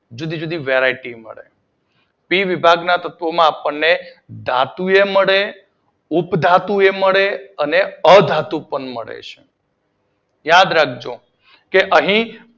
જુદી જુદી વેરાયટી મળે પી વિભાગના તત્વોમાં આપડને ધાતુ એ મળે ઉપધાતુ એ મળે અને અધાતુ પણ મળે છે. યાદ રાખજો. કે અહી સી